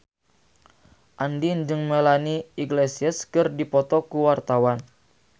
Andien jeung Melanie Iglesias keur dipoto ku wartawan